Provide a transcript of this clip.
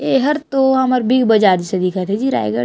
एहर तो हमर बिग बाजार जइसे दिखत हे जी रायगढ़--